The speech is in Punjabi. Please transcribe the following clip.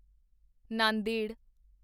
ਨਾਂਦੇੜ